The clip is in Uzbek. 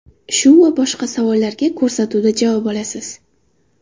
Shu va boshqa savollarga ko‘rsatuvda javob olasiz.